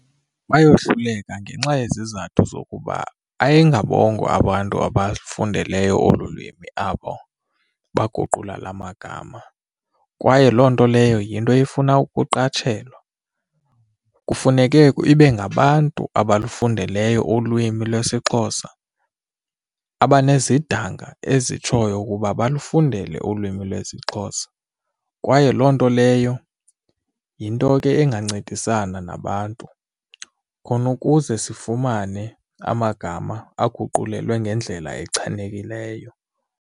Bayohluleka ngenxa yezizathu zokuba ayingabongo abantu abafundeleyo olu lwimi abo baguqula la magama kwaye loo nto leyo yinto efuna ukuqatshelwa. Kufuneke ibe ngabantu abalufundeleyo ulwimi lwesiXhosa abanezidanga ezitshoyo ukuba balufundele ulwimi lwesiXhosa kwaye loo nto leyo yinto ke ingancedisana nabantu khona ukuze sifumane amagama aguqulelwe ngendlela echanekileyo.